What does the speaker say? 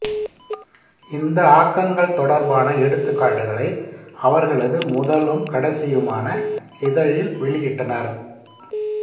இந்த ஆக்கங்கள் தொடர்பான எடுத்துக்காட்டுகளை அவர்களது முதலும் கடைசியுமான இதழில் வெளியிட்டனர்